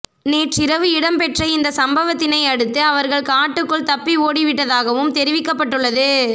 நேற்றிரவு இடம்பெற்ற இந்த சம்பவத்தினையடுத்து அவர்கள் காட்டுக்கள் தப்பி ஓடிவிட்டதாகவும் தெரிவிக்கப்பட்டுள்ளது